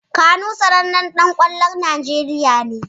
Kanu sanannen ɗan ƙwallon Najeriya ne.